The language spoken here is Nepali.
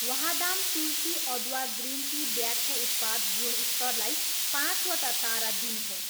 वाहदाम तुलसी अदुवा ग्रिन टी ब्यागको उत्पाद गुणस्तरलाई पाँचवटा तारा दिनुहोस्